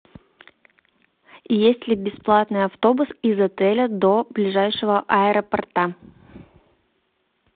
есть ли бесплатный автобус из отеля до ближайшего аэропорта